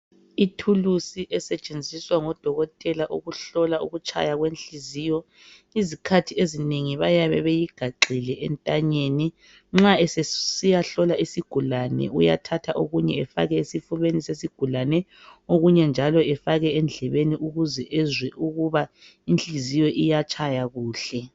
Ithulusi esetshenziswa ngodokotela ukuhlola ukutshaya kwenhliziyo. Izikhathi ezinengi bayabe beyigaxile entanyeni. Nxa esesiyahlola isigulane uyathatha okunye afake esifubeni sesigulane, okunye njalo efake endlebeni ukuze ezwe ukuba inhliziyo iyatshaya kuhle.